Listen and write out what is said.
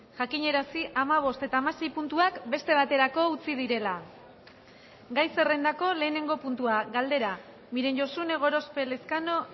jakinarazi hamabost eta hamasei puntuak beste baterako utzi direla gai zerrendako lehenengo puntua galdera miren josune gorospe elezkano